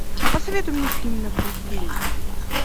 посоветуй мне фильм на пределе